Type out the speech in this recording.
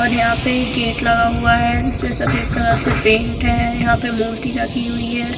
और यहां पे गेट लगा हुआ है जिसमें सफेद कलर से पेंट है यहां पे मूर्ति रखी हुई है।